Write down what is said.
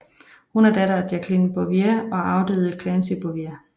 Hun er datter af Jacqueline Bouvier og afdøde Clancy Bouvier